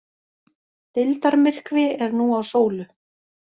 Deildarmyrkvi er nú á sólu